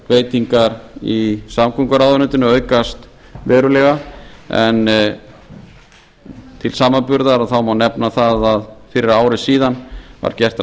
fjárveitingar í samgönguráðuneytinu aukast verulega en til samanburðar má nefna það að fyrir ári síðan var gert